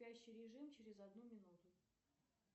спящий режим через одну минуту